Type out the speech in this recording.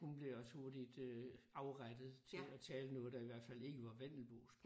Hun blev også hurtigt øh afrettet til at tale noget der i hvert fald ikke var vendelbosk